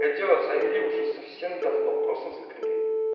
это дело замяли уже совсем давно просто закрыли